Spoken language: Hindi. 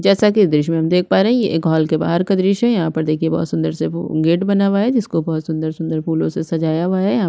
जैसा की दृश्य में हम देख पाए रहे है ये एक हॉल के बाहर का दृश्य है यहाँ पर देखिये बहोत सुंदर से भू गेट बना हुआ है जिनको बहोत सुंदर-सुंदर फूल से सजाया हुआ है यहाँ--